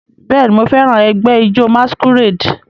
Bẹẹni, Mo fẹran ẹgbẹ ijó masquerade